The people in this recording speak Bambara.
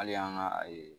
Hali an ka